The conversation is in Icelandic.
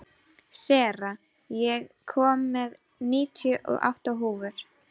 Sera, ég kom með níutíu og átta húfur!